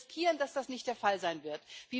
Wir riskieren, dass das nicht der Fall sein wird.